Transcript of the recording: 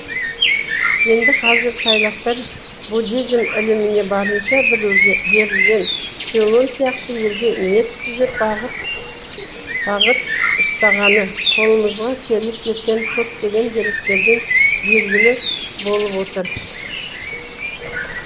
енді қазір тайлықтар буддизм іліміне барынша берілген цейлон сияқты елге ниет түзеп бағыт ұстағаны қолымызға келіп жеткен көптеген деректерден белгілі болып отыр